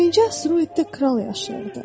Birinci asteroiddə kral yaşayırdı.